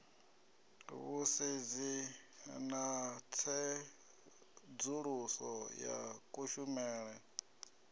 vhusedzi na tsedzuluso ya kushumele